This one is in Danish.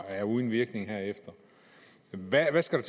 er uden virkning derefter hvad skal